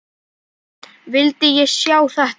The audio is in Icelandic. Vildi ég sjá þetta?